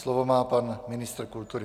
Slovo má pan ministr kultury.